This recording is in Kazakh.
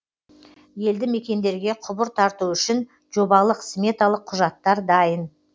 елді мекендерге құбыр тарту үшін жобалық сметалық құжаттар дайын